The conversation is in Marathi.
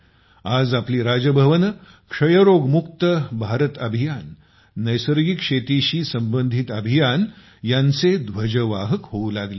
आज आपले राजभवन क्षयरोग मुक्त भारत अभियान नैसर्गिक शेतीशी संबंधित अभियान यांचे ध्वजवाहक होऊ लागले आहेत